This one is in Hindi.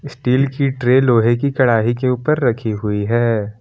स्टील की ट्रे लोहे की कढ़ाई के ऊपर रखी हुई है।